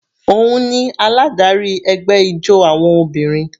Òun ni aládarí ẹgbẹ́ ijó àwọn obìnrin.